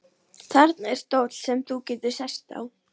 Þarna er stóll sem þú getur sest á.